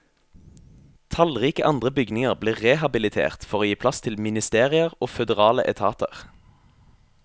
Tallrike andre bygninger blir rehabilitert for å gi plass til ministerier og føderale etater.